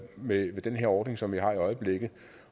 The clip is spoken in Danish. med den ordning som vi har i øjeblikket